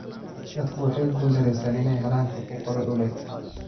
Dadku waxay ku guul daraysteen inay helaan xuquuqdooda dhuleed.